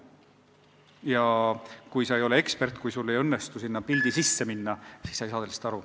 Ja kui sa ei ole ekspert, kui sul ei õnnestu sinna pildi sisse minna, siis sa ei saa võltsingust aru.